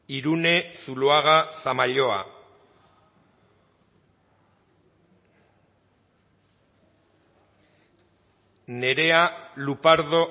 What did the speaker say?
irune zuluaga zamalloa nerea lupardo